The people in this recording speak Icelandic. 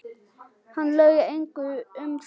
Hann laug engu um það.